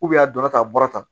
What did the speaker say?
a donna ta a bɔra tan